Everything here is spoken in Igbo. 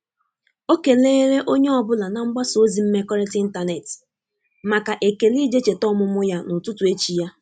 O keleere onye ọ bụla na mgbasa ozi mmekọrịta ịntanetị maka ekele ije cheta ọmụmụ ya n’ututu echi ya.